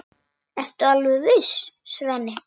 Ertu alveg viss, Svenni?